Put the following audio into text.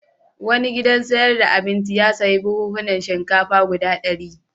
Wani gidan sayar da abinci ya sayi buhunhunan shinkafa guda ɗari.